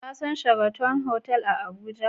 Ka san sharaton hotel a Abuja?